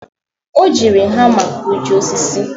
o jiri hama gbajie osisi